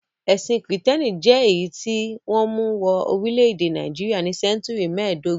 Ẹ̀sìn Kìrìtẹ́ẹ́nì jẹ́ èyí tí wọ́n mú wọ orílẹ̀-èdè Nàìjíríà ní sẹ́ńtúrì mẹ́ẹ̀dógún.